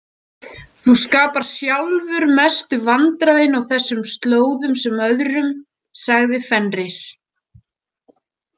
Þú skapar sjálfur mestu vandræðin á þessum slóðum sem öðrum, sagði Fenrir.